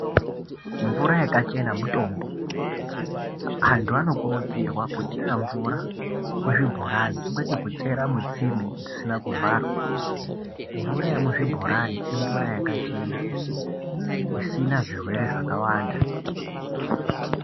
Mvura yakachena mutombo ,antu anokurudzirwa kuchera mvura kuzvibhorani kwete kuchera mutsime dzisina kuvharwa . Mvura yemuzvibhorani imvura yakachena isina zvirwere zvakawanda .